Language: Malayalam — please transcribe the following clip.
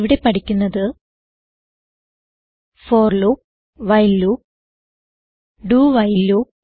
ഇവിടെ പഠിക്കുന്നത് for loop while loop dowhile loop